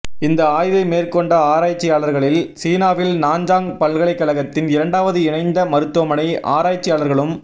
இந்த ஆய்வை மேற்கொண்ட ஆராய்ச்சியாளர்களில் சீனாவின் நாஞ்சாங் பல்கலைக்கழகத்தின் இரண்டாவது இணைந்த மருத்துவமனை ஆராய்ச்சியாளர்களும்